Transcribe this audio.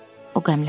O qəmləndi.